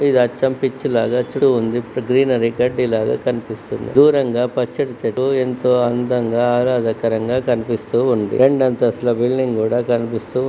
ఇధియోకా పిచు లగా గ్రాను అనే గడ్డి లాగా కనిపిస్తుంది. దూరంగా పచ్చని చెట్లు ఎంతో అందంగా ఆహ్లాదకరంగా కనిపిస్తూ ఉంది. రెండంతస్తుల బిల్డింగ్ కూడా కనిపిస్తూ--